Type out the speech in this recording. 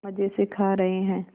मज़े से खा रहे हैं